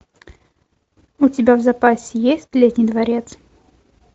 у тебя в запасе есть летний дворец